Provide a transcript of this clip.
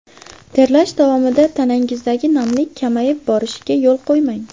Terlash davomida tanangizdagi namlik kamayib borishiga yo‘l qo‘ymang.